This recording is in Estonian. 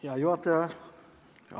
Hea juhataja!